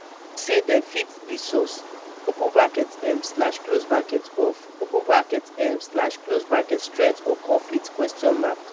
say dem fit be source open bracket um slash close bracket of open bracket um slash close bracket strength or conflict question mark